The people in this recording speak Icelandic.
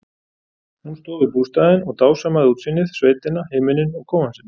Hún stóð við bústaðinn og dásamaði útsýnið, sveitina, himininn og kofann sinn.